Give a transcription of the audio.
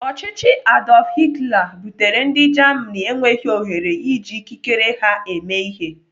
Ọchịchị Adolf Hitler butere ndị Germany enweghị ohere iji ikikere ha eme ihe.